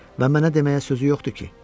Və mənə deməyə sözü yoxdu ki?